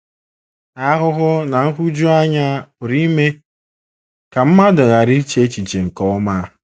Ahụhụ na nhụjuanya pụrụ ime ka mmadụ ghara iche echiche nke ọma.